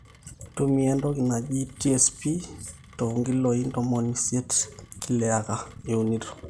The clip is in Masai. ntumia entoki naji TSP te 80kg per acre iunito